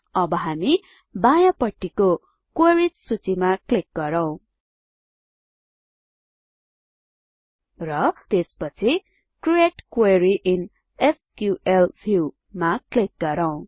अब हामी बायाँ पट्टिको क्वेरिज सूचीमा क्लिक गरौँ र त्यसपछि create query in SQL view मा क्लिक गरौँ